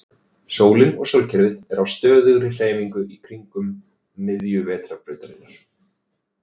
Sólin og sólkerfið er á stöðugri hreyfingu kringum miðju Vetrarbrautarinnar.